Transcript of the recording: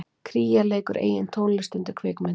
Kría leikur eigin tónlist undir kvikmynd